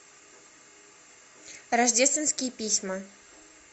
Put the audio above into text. рождественские письма